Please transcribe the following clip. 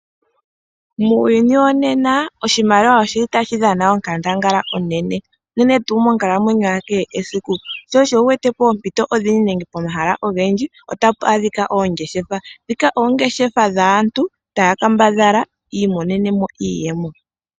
Muuyuni wonena oshimaliwa oshili tashi dhana onkandangala onene, unene tuu monkalamwenyo ya kehe esiku, sho osho wu wete poompito odhindji nenge pomahala ogendjibotapu adhika oongeshefa, ndhika oongeshefa dhaantu tayackambadhala yi imonene mo iiyemo.